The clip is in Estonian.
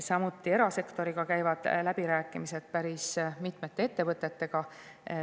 Samuti käivad läbirääkimised erasektoriga, päris mitme ettevõttega.